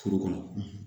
Furu kɔnɔ